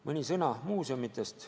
Mõni sõna muuseumidest.